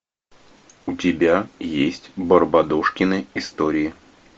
у тебя есть барбадожкины истории